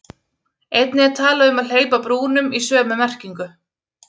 Einnig er talað um að hleypa brúnum í sömu merkingu.